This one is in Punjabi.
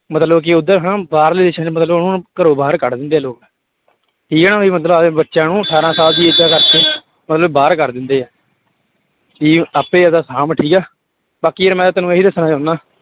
ਮਤਲਬ ਕਿ ਉੱਧਰ ਹਨਾ ਬਾਹਰਲੇ ਦੇਸਾਂ ਚ ਮਤਲਬ ਉਹਨੂੰ ਘਰੋਂ ਬਾਹਰ ਕੱਢ ਦਿੰਦੇ ਆ ਲੋਕ ਠੀਕ ਹੈ ਨਾ ਵੀ ਮਤਲਬ ਆਪਦੇ ਬੱਚਿਆਂ ਨੂੰ ਅਠਾਰਾਂ ਸਾਲ ਦੀ age ਦਾ ਕਰਕੇ ਮਤਲਬ ਬਾਹਰ ਕਰ ਦਿੰਦੇ ਆ ਕਿ ਆਪੇ ਆਪਦਾ ਸਾਂਭ ਠੀਕ ਹੈ, ਬਾਕੀ ਯਾਰ ਮੈਂ ਤਾਂ ਤੈਨੂੰ ਇਹੀ ਦੱਸਣਾ ਚਾਹੁਨਾ